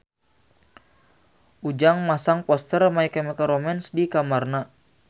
Ujang masang poster My Chemical Romance di kamarna